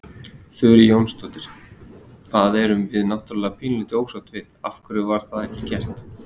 Þurí Jónasdóttir: Það erum við náttúrulega pínulítið ósátt við, af hverju var það ekki gert?